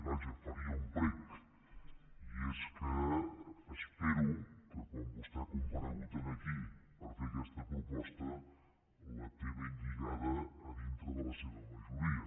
vaja faria un prec i és que espero que quan vostè ha comparegut aquí per fer aquesta proposta la tingui ben lligada a dintre de la seva majoria